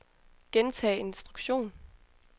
gentag instruktion